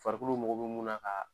Farikolow mako bɛ munna ka